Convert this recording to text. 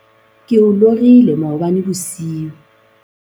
ke o lorile maobane bosiu